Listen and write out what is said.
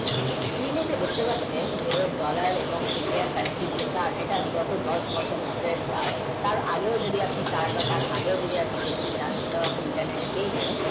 নিজেই তো বুঝতে পারছেন US dollar ও Indian, currency যে আগেকার দশ বছরের উপেক্ষার তার আগের তার আগেও যদি দেখতে চান তো আপনি similarity পেয়ে যাবেন